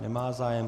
Nemá zájem.